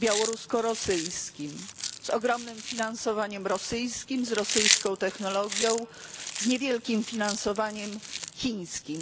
białorusko rosyjskim z ogromnym finansowaniem rosyjskim, z rosyjską technologią, z niewielkim finansowaniem chińskim.